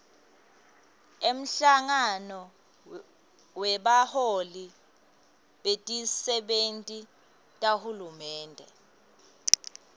umhlangano webaholi betisebenti tahulumende